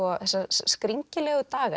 skringilegu daga